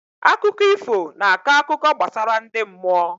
Akụkọ ifo na akọ akụkọ gbasara ndị mmụọ